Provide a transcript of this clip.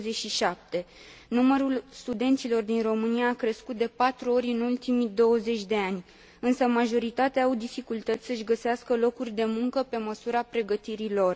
27. Numărul studenților din România a crescut de patru ori în ultimii 20 de ani, însă majoritatea au dificultăți să și găsească locuri de muncă pe măsura pregătirii lor.